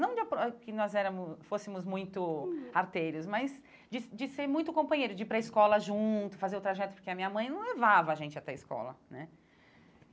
Não de que nós éramos fôssemos muito arteiros, mas de de ser muito companheiro, de ir para a escola junto, fazer o trajeto, porque a minha mãe não levava a gente até a escola, né?